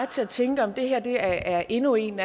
til at tænke om det her sådan er endnu en